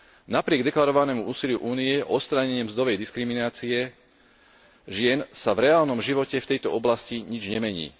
Napriek deklarovanému úsiliu Únie o odstránenie mzdovej diskriminácie žien sa vreálnom živote v tejto oblasti nič nemení.